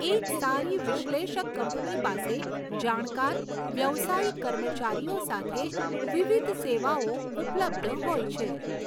એક સારી વિશ્લેષક કંપની પાસે જાણકાર, વ્યાવસાયિક કર્મચારીઓ સાથે વિવિધ સેવાઓ ઉપલબ્ધ હોય છે.